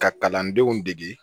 Ka kalandenw degi